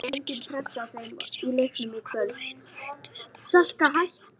Kyrkislangan var hvergi sjáanleg, svo að Abba hin var hætt við að fara að skæla.